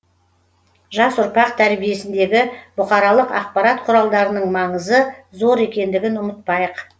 жас ұрпақ тәрбиесіндегі бұқаралық ақпарат құралдарының маңызы зор екендігін ұмытпайық